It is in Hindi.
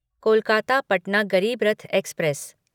कोलकाता पटना गरीब रथ एक्सप्रेस